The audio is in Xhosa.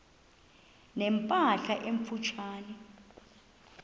ne mpahla emfutshane